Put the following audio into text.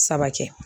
Saba kɛ